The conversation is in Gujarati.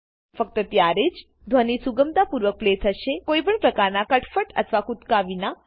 ફક્ત ત્યારેજ ધ્વની સુગમતા પૂર્વક પ્લે થશેકોઈ પણ પ્રકારના કટફટ અથવા કુદકા વિના